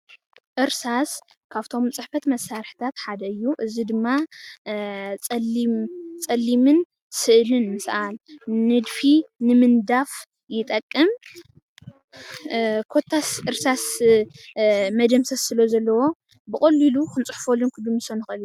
እርሳስ ካፍቶም ፅሕፈት መሳርሕታት ሓደ እዩ፡፡ እዚ ድማ ፀሊም ፀሊምን ስእሊ ንምስኣል ንድፊ ንምንዳፍ ይጠቅም፡፡ ኮታስ እርሳስ መደምሰስ ስለዘለዎ ብቐሊሉ ክንፅሕፈሉን ክንድምስሰሉን ንኽእል ኢና፡፡